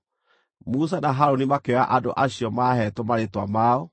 Musa na Harũni makĩoya andũ acio maaheetwo marĩĩtwa mao.